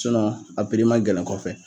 a piri man gɛlɛn kɔfɛ